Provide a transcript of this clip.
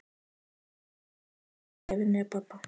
En þangað til ætla ég að vinna hjá pabba.